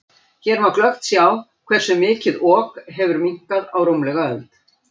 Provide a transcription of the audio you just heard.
Hér má glöggt sjá hversu mikið Ok hefur minnkað á rúmlega öld.